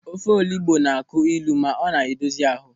Ofe olugbu na-akụ ịlụ ma ọ na-edozi ahụ.